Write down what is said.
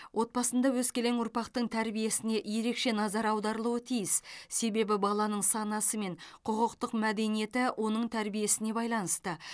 отбасында өскелең ұрпақтың тәрбиесіне ерекше назар аударылуы тиіс себебі баланың санасы мен құқықтық мәдениеті оның тәрбиесіне байланысты